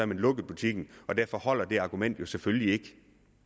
man lukket butikken og derfor holder argumentet selvfølgelig ikke